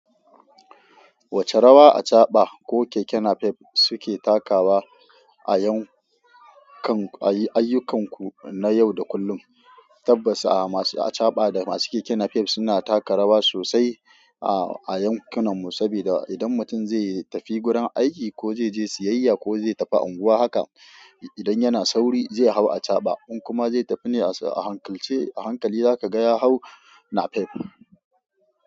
Wacce rawa achaba ko keke napep suke takawa ayyukanku na yau da kullum? Tabbas masu achaba da masu keke napep suna taka rawa sosai a yankunanmu, saboda idan mutum zai tafi gurin aiki ko zai je siyayya ko zai tafi unguwa haka, idan yana sauri zai hau achaba in kuma zai tafi ne ahankalce a hankali zakaga ya hau napep.